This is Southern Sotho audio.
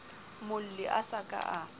molli a sa ka a